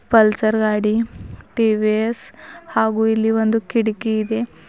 Pulsar ಗಾಡಿ T V S ಹಾಗು ಇಲ್ಲಿ ಒಂದು ಕಿಟಕಿ ಇದೆ.